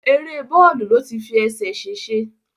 Èrè bọ́ọ̀lù ló ti fi ẹsẹ̀ sèsẹ